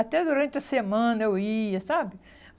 Até durante a semana eu ia, sabe?